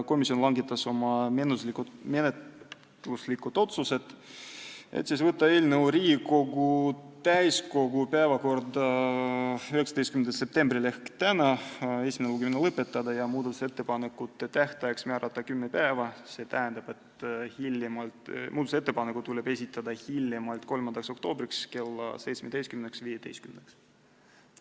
Komisjon langetas oma menetluslikud otsused: võtta eelnõu Riigikogu täiskogu päevakorda 19. septembriks ehk tänaseks, esimene lugemine lõpetada ja muudatusettepanekute tähtajaks määrata kümme päeva, st ettepanekud tuleb esitada hiljemalt 3. oktoobriks kella 17.15-ks.